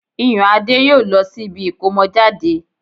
Iyùnadé yóò lọ sí ibi ìkómọjáde